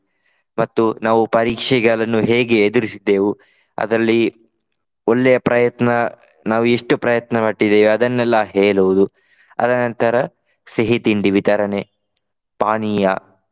ಮತ್ತು ನಾವು ಪರೀಕ್ಷೆಗಳನ್ನು ಹೇಗೆ ಎದುರಿಸಿದ್ದೇವು. ಅದರಲ್ಲಿ ಒಳ್ಳೆಯ ಪ್ರಯತ್ನ ನಾವು ಎಷ್ಟು ಪ್ರಯತ್ನ ಪಟ್ಟಿದ್ದೇವು ಅದನ್ನೆಲ್ಲ ಹೇಳುವುದು. ಆದ ನಂತರ ಸಿಹಿ ತಿಂಡಿ ವಿತರಣೆ ಪಾನೀಯ.